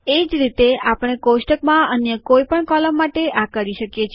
એ જ રીતે આપણે કોષ્ટકમાં અન્ય કોઈ પણ કૉલમ માટે આ કરી શકીએ છે